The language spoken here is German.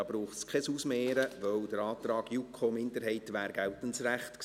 Da braucht es kein Ausmehren, weil der Antrag JuKo-Minderheit geltendes Recht gewesen wäre.